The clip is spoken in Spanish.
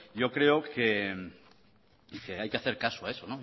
yo creo que hay que hacer caso a eso